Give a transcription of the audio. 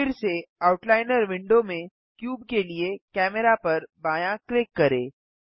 फिर से outliner window में क्यूब के लिए कैमेरा पर बायाँ क्लिक करें